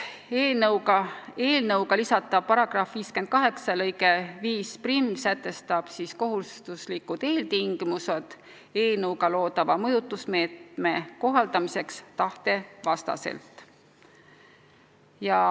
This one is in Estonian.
Eelnõuga lisatav § 58 lõige 51 sätestab kohustuslikud eeltingimused eelnõuga loodava mõjutusmeetme kohaldamiseks tahte vastaselt.